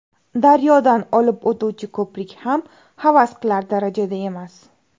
Daryodan olib o‘tuvchi ko‘prik ham havas qilar darajada emas.